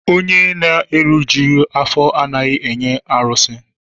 Onye na-erijughị afọ anaghị enye arụsị.